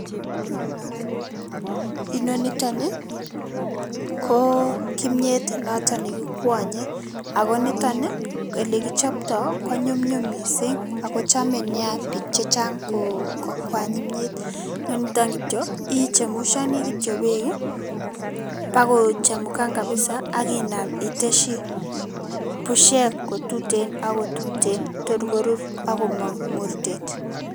Inoni nitok ko kimnyet noto ne kikwanyei ako nitok ole kichoptoi ko nyumnyum mising ako nea biik chechang kokwany kimnyet. Ne nito kityo ichemushani kityo beek pakochemukan kapsa akinam iteshi pushek kotuten ako tuten tor korur akoi komang mortet.